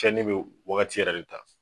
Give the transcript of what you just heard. Cɛnni bɛ wagati yɛrɛ de ta.